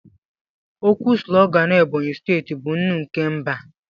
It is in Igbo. Okwu sulogan Ebonyi steeti bụ "Nnụ nke mba"